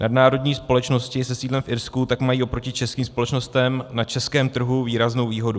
Nadnárodní společnosti se sídlem v Irsku tak mají oproti českým společnostem na českém trhu výraznou výhodu.